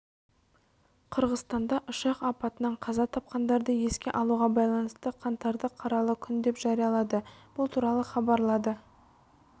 қырғызстанда ұшақ апатынан қаза тапқандарды еске алуға байланысты қаңтарды қаралы күн деп жариялады бұл туралы хабарлады